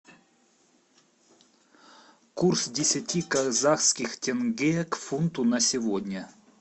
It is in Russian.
курс десяти казахских тенге к фунту на сегодня